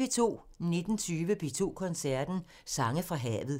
19:20: P2 Koncerten – Sange fra havet